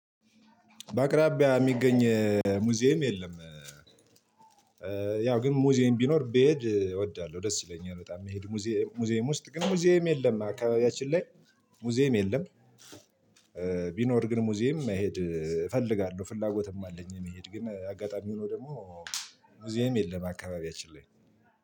በአቅራቢያ የሚገኝ ሙዚየም የለም። ያው ግን ሙዚየም ቢኖር ብሄድ እወዳለሁ ደስ ይለኛል በጣም መሄድ ሙዚየም ውስጥ ግን ሙዚየም የለም። አካባቢያችን ላይ ሙዚየም የለም። ቢኖር ግን ሙዚየም መሄድ እፈልጋለሁ ፍላጎትም አለኝ። መሄድ ግን አጋጣሚ ሆኖ ደግሞ ሙዚየም የለም አካባቢያችን ላይ